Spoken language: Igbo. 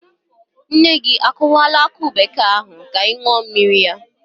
Nne gị o kụwala akụ bekee ahụ ka ị ṅụọ mmiri ya?